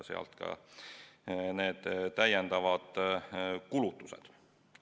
Sealt ka need täiendavad kulutused.